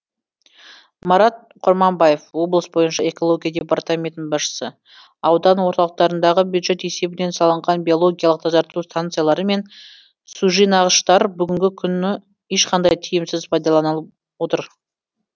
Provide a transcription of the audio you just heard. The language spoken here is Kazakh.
марат құрманбаев облыс бойынша экология департаментінің басшысы аудан орталықтарындағы бюджет есебінен салынған биологиялық тазарту станциялары мен сужинағыштар бүгінгі күні ешқандай тиімсіз пайдаланылып отыр